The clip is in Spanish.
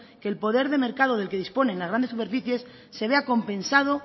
que el poder de mercado del que disponen las grandes superficies se vea compensado